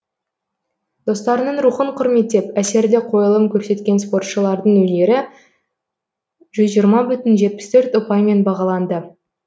достарының рухын құрметтеп әсерлі қойылым көрсеткен спортшылардың өнері жүз жиырма бүтін жетпіс төрт ұпаймен бағаланды